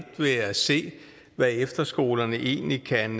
ved at se hvad efterskolerne egentlig kan